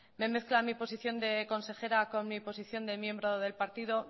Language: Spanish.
me mezcla mi posición de consejera con mi posición de miembro del partido